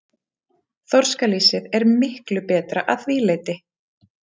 Þorskalýsið er miklu betra að því leyti.